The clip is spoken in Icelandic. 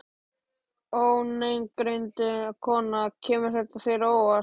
Ónafngreind kona: Kemur þetta þér á óvart?